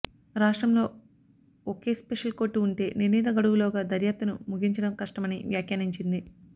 రాష్ట్రంలో ఒకే special court ఉంటే నిర్ణీత గడువులోగా దర్యాప్తును ముగించడం కష్టమని వ్యాఖ్యానించింది